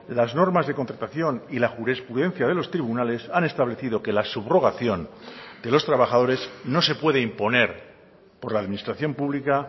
las normas de contratación y la jurisprudencia de los tribunales han establecido que la subrogación de los trabajadores no se puede imponer por la administración pública